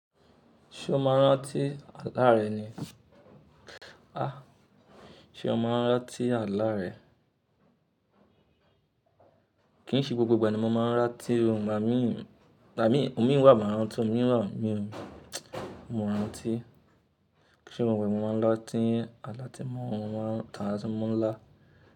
Ṣé o máa rántí àlá rẹ ni? Ah! Ṣé o máa rántí àlá rẹ? Kì í ṣe gbogbo ìgbà ni mo máa ń rántí ohun màá mí, àmín, ohun mí wà, màá rántí ohun mí ràn, mí rántí. Kí ì ṣe gbogbo ìgbà ni mo máa ń rántí àlá tí mo máa ń tà á ala tí mo maa ń lá.